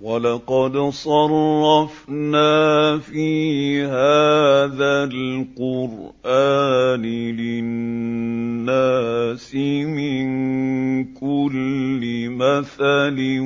وَلَقَدْ صَرَّفْنَا فِي هَٰذَا الْقُرْآنِ لِلنَّاسِ مِن كُلِّ مَثَلٍ ۚ